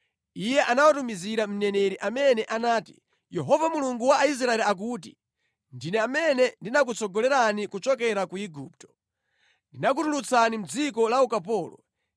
Iye anawatumizira mneneri amene anati, “Yehova Mulungu wa Israeli akuti, ‘Ndine amene ndinakutsogolerani kuchokera ku Igupto. Ndinakutulutsani mʼdziko la ukapolo.